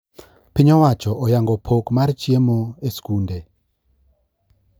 piny owacho oyango pok mar chiemo e skunde